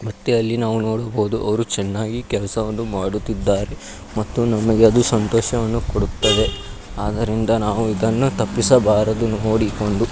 ಮತ್ತೆ ನಾವು ಅಲ್ಲಿ ನೋಡಬಹುದು ಅವರು ಚೆನ್ನಾಗಿ ಕೆಲಸವನ್ನು ಮಾಡುತ್ತಿದ್ದಾರೆ ಮತ್ತು ನಮಗೆ ಅದು ಸಂತೋಷವನ್ನು ಕೊಡುತ್ತದೆ ಆದ್ದರಿಂದ ನಾವು ಇದನ್ನು ತಪ್ಪಿಸಬಾರದು ನೋಡಿಕೊಂಡು--